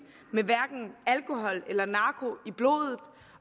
med alkohol eller narko i blodet